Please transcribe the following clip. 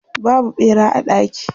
Babu ɓera a daki.